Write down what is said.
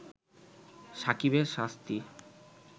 সাকিবের শাস্তি